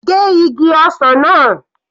Gé igi ọsàn náà.